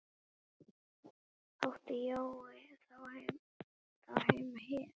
Átti Jói þá heima hér?